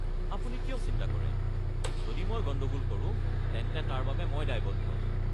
আপুনি কিয় চিন্তা কৰে? যদি মই গণ্ডগোল কৰোঁ তেন্তে তাৰ বাবে মই দায়বদ্ধ।